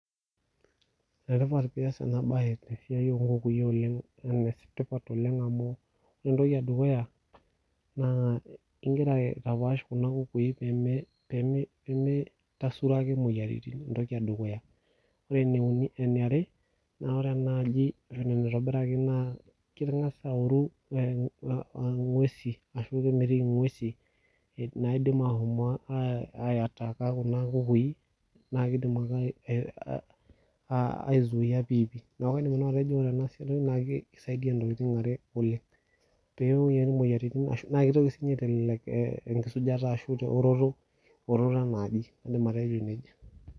Enetipat pee ias ena baye tesiai oonkukui oleng' enetipat amu entoki edukuya, naa ikira apaash kuna kukui peemitasuro ake imoyiaritin entoki edukuya. Wore ene uni eniare, naa wore enaaji enaa enaitobiraki naa kengas aoru inguesin arashu kemitiki inguesin, naidim aashomo aitaka kuna kukui, naa kiidim ake aizuia piipi. Neeku kaidim nanu atejo wore ena enasiai naa kisaidia intokitin are oleng'. Pee ibooyo imoyiaritin ashu naa kitoki siinye aitelelek enkisujata ashu teoroto, eoroto enaaji. Iindim atejo nejia.